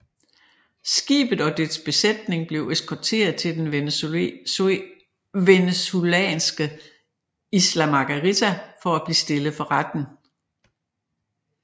Skibet og dets besætning blev eskorteret til den venezuelanske Isla Margarita for at blive stillet for retten